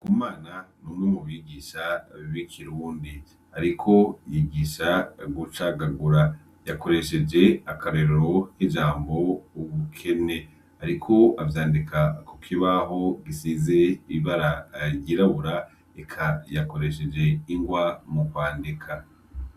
Bumana numwe mubigisha bikirundi ariko yigisha gucagagura yakoresheje akarorero kijambo ubukene ariko avyandika kukibaho gisize ibara ryirabura eka yakoresheje ingwa mukwandika